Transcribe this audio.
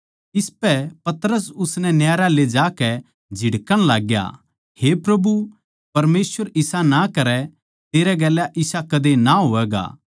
इसपै पतरस उसनै न्यारा ले जाकै झिड़कण लाग्या हे प्रभु परमेसवर इसा ना करै तेरै गेल्या इसा कदे ना होवैगा